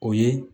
O ye